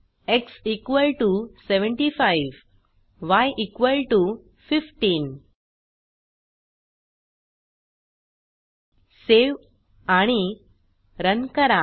x75 य 15 save आणि run करा